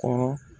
Kɔrɔ